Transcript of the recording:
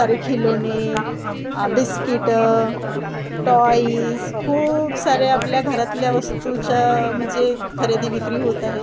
सारे खिलोने आ बिस्किटं टॉईज खूप सारे आपल्या घरातल्या वस्तूच्या म्हणजे खरेदी विक्री होत आहे.